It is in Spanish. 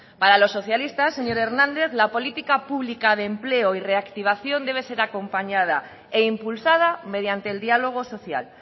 para los socialistas señor hernández la política pública de empleo y reactivación debe ser acompañada e impulsada mediante el diálogo social